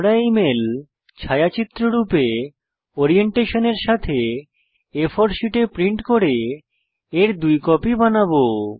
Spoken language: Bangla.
আমরা এই মেল ছায়াচিত্র রূপে ওরিয়েন্টেশন এর সাথে আ4 শীটে প্রিন্ট করে এর দুটি কপি বানাবো